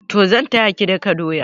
Toh zan taya ki daka doya.